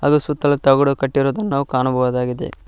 ಸುತ್ತಲು ತಗಡು ಕಟ್ಟಿರುವುದನ್ನು ನಾವು ಕಾಣಬಹುದಾಗಿದೆ.